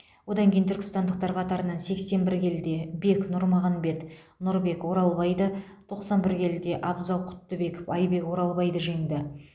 одан кейін түркістандықтар қатарынан сексен бір келіде бек нұрмағанбет нұрбек оралбайды тоқсан бір келіде абзал құттыбеков айбек оралбайды жеңді